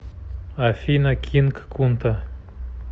афина кинг кунта